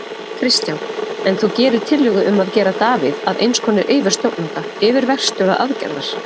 Kristján: En þú gerir tillögu um að gera Davíð að eins konar yfirstjórnanda, yfirverkstjóra aðgerðar?